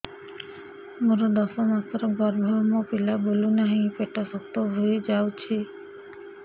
ମୋର ଦଶ ମାସର ଗର୍ଭ ମୋ ପିଲା ବୁଲୁ ନାହିଁ ପେଟ ଶକ୍ତ ହେଇଯାଉଛି